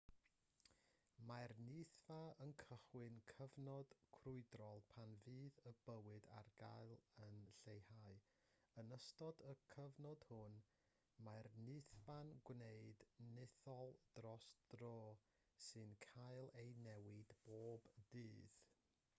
mae'r nythfa yn cychwyn cyfnod crwydrol pan fydd y bwyd ar gael yn lleihau yn ystod y cyfnod hwn mae'r nythfa'n gwneud nythod dros dro sy'n cael eu newid bob dydd